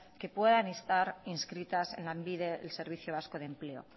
que puedan estar inscritas en lanbide servicio vasco de empleo